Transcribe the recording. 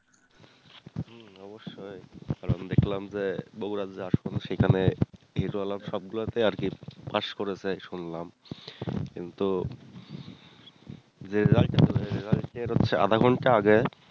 হম অবশ্যই দেখলাম দেখলাম যে সেখানে hero alarm সবগুলোতে ই আরকি পাশ করেছে শুনলাম কিন্তু result result এর হচ্ছে আধ ঘণ্টা আগে